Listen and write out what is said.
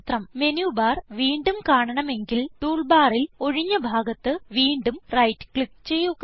menu bar വീണ്ടും കാണണമെങ്കിൽ tool ബാറിൽ ഒഴിഞ്ഞ ഭാഗത്ത് വീണ്ടും റൈറ്റ് ക്ലിക്ക് ചെയ്യുക